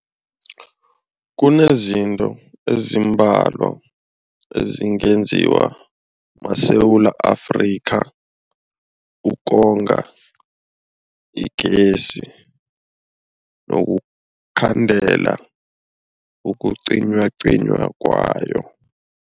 Kunezinto ezimbalwa ezingenziwa maSewula Afrika ukonga igezi nokukhandela ukucinywacinywa kwayo.